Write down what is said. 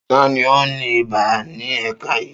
Ta ni ó ní ibà ní ẹ̀ka yìí?